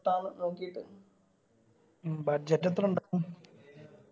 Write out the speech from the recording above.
നോക്കിയിട്ട് മ്മ് budget എത്ര ഇണ്ടാവും